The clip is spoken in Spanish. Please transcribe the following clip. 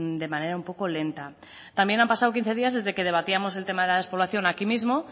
de manera un poco lenta también han pasado quince días desde que debatíamos el tema de la despoblación aquí mismo